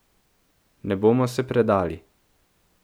Ne bomo se predali.